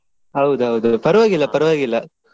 ಹೌದ್ ಹೌದ್ ಪರ್ವಾಗಿಲ್ಲ ಪರ್ವಾಗಿಲ್ಲ.